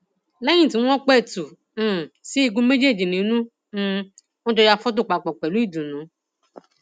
lẹyìn tí wọn pẹtù um sí igun méjèèjì nínú ni um wọn jọ ya fọtò papọ pẹlú ìdùnnú